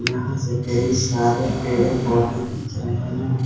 यहां से कई सारे पेड़ पौधे दिख रहे हैं।